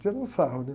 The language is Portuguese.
Tirando sarro, né?